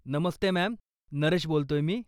नमस्ते ma'am, Naresh बोलतोय मी.